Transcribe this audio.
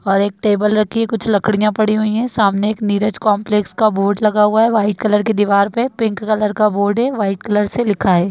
और एक टेबल रखी है कुछ लड़कियां पड़ी हुई है सामने एक नीरज कॉम्प्लेक्स का बोर्ड लगा हुआ है व्हाइट कलर की दीवार पर पिंक कलर का बोर्ड है व्हाइट कलर से लिखा है।